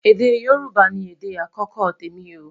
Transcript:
èdè yorùbà ní èdè akọkọ témi o